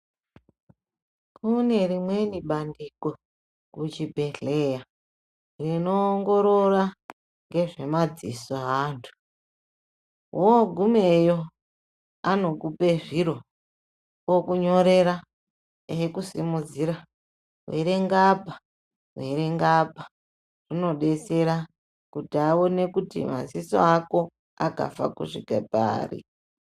Kune rimweni bandiko kuchibhedhlera rinoongorora ngezve madziso eantu wogumeyo anokupe zviro okunyorera ekusimudzira erenga apa verenga apa zvinodetsera kuti aone kuti maziso ako akafa kusvika pari.